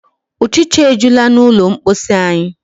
Ụchịcha ejula n'ụlọ mposi anyị.